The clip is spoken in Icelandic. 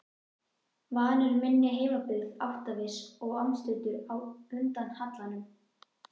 Vanur minni heimabyggð, áttaviss og andstuttur á undan hallanum.